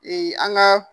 an ka